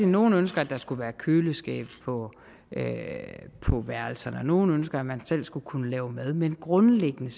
nogle ønsker at der skulle være køleskabe på værelserne og at nogle ønsker at man selv skulle kunne lave mad men grundlæggende